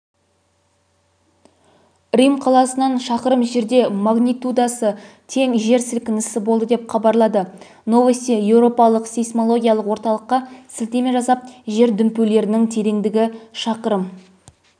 рим қаласынан шақырым жерде магнитудасы тең жер сілкінісі болды деп хабарлады новости еуропалық сейсмологиялық орталыққа сілтеме жасап жер дүмпулерінің тереңдігі шақырым